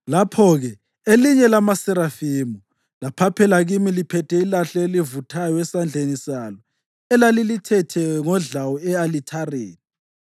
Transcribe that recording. Lapho-ke elinye lamaserafimu laphaphela kimi liphethe ilahle elivuthayo esandleni salo elalilithethe ngodlawu e-alithareni.